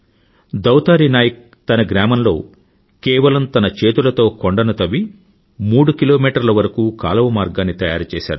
దౌతారీ నాయక్ తన గ్రామంలో కేవలం తన చేతులతో కొండను తవ్వి మూడు కిలోమీటర్ల వరకూ కాలువ మార్గాన్ని తయారుచేశాడు